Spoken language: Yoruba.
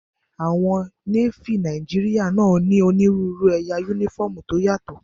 Àwọn Nééfì Nàìjíríyà náà ní onírúurú ẹ̀yà yúnífọ́ọ̀mù tó yàtọ̀